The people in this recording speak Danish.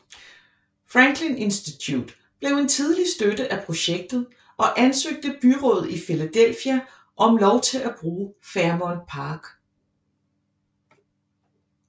Franklin Institute blev en tidlig støtte af projektet og ansøgte byrådet i Philadelphia om lov til at bruge Fairmount Park